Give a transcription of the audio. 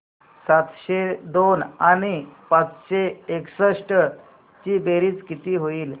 सातशे दोन आणि पाचशे एकसष्ट ची बेरीज किती होईल